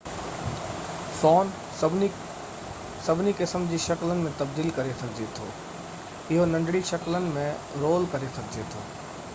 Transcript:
سون سڀني قسمن جي شڪلن ۾ تبديل ڪري سگهجي ٿو اهو ننڍڙي شڪلن ۾ رول ڪري سگهجي ٿو